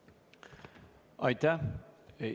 Aitäh!